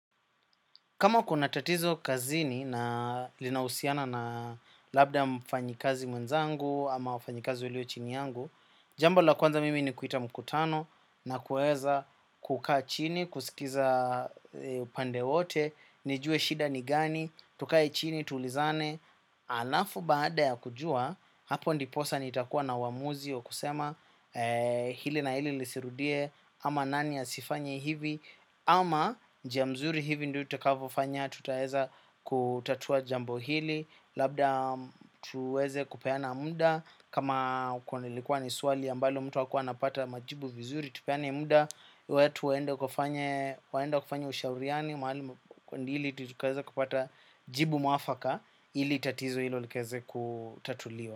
Kama kuna tatizo kazini na linausiana na labda mfanyikazi mwenzangu ama wafanyikazi walio chini yangu. Jambo la kwanza mimi ni kuita mkutano na kueza kukaa chini, kusikiza pande wote, nijue shida ni gani, tukae chini, tulizane. Alafu baada ya kujua, hapo ndiposa nitakuwa na wamuzi wa kusema hili na hili lisirudie ama nani asifanye hivi. Ama njia mzuri hivi ndiyo utakavofanya tutaeza kutatua jambo hili. Labda tuweze kupeana munda. Kama ukonilikuwa ni suali ambalo mtu akua anapata majibu vizuri. Tupeana munda, wetu waenda kufanya ushauriani. Mahalimu kundili tutukaeza kupata jibu mafaka. Hili tatizo hilo likaeze kutatuliwa.